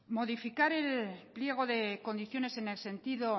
modificar el pliego de condiciones en el sentido